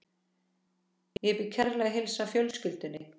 Ég bið kærlega að heilsa fjölskyldunni.